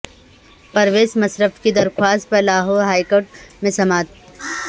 پرویز مشرف کی درخواست پر لاہور ہائی کورٹ میں سماعت